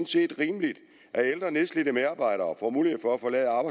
set er rimeligt at ældre nedslidte medarbejdere får mulighed for